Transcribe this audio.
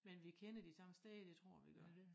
Men vi kender de samme steder det tror jeg vi gør